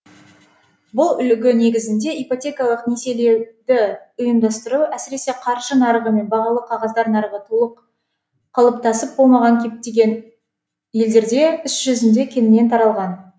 бұл үлгі негізінде ипотекалық несиелеуді ұйымдастыру әсіресе қаржы нарығы мен бағалы қағаздар нарығы толық қалыптасып болмаған кептеген елдерде іс жүзінде кеңінен таралған